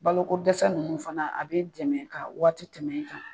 Bolo ko dɛsɛ nunnu fana a b'i dɛmɛ ka waati tɛmɛ i kan.